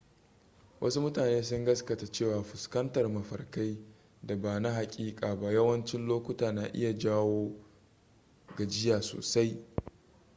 wasu mutane sun gaskata cewa fuskantar mafarkai da ba na hakika ba yawancin lokuta na iya jawo gajiya sosai